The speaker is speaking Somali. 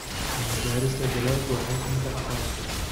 Cilmi-baarista dalaggu waxay keentaa aqoon cusub.